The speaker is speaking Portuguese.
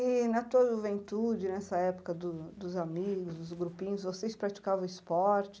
E na tua juventude, nessa época do dos amigos, dos grupinhos, vocês praticavam esporte?